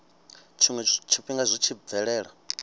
tshiwe tshifhinga zwi tshi bvelela